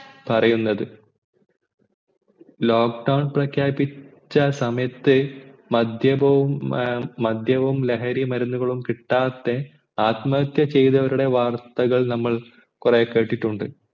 പറയുന്നത് lock down പ്രഖ്യാപിച്ച സമയത്ത് മദ്യവും ഏർ മദ്യവും ലഹരിമരുന്നവും കിട്ടാതെ ആത്മഹത്യാ ചെയ്തവരുടെ വാർത്തകൾ നമ്മൾ കൊറേ കേട്ടിട്ടുണ്ട്